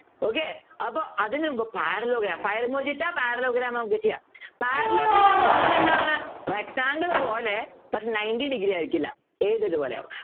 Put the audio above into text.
okay അപ്പൊ അതിനുമുമ്പ് Parallelogram Parallelogram നമുക്ക് ചെയ്യാം Parallelogram എന്ന് പറഞ്ഞാൽ എന്താണ് rectangle പോലെ പക്ഷേ Ninety degree ആയിരിക്കില്ല ഏത് ഇതുപോലെയാവും